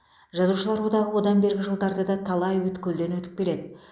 жазушылар одағы одан бергі жылдарда да талай өткелден өтіп келеді